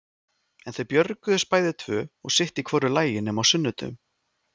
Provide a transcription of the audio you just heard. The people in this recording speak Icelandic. En þau björguðust bæði tvö og sitt í hvoru lagi nema á sunnudögum.